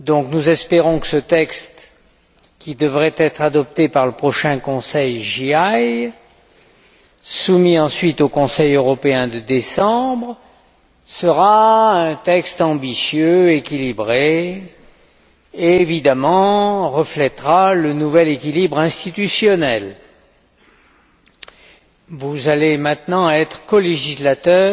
Nous espérons que ce texte qui devrait être adopté par le prochain Conseil JAI et soumis ensuite au Conseil européen de décembre, sera un texte ambitieux, équilibré et, évidemment, reflétera le nouvel équilibre institutionnel. Vous allez maintenant être colégislateurs